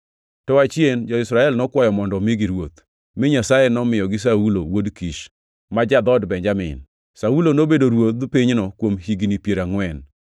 To achien jo-Israel nokwayo mondo omigi ruoth, mi Nyasaye nomiyogi Saulo wuod Kish, ma ja-dhood Benjamin. Saulo nobedo ruodh pinyno kuom higni piero angʼwen.